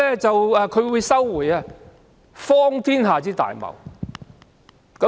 這是荒天下之大謬。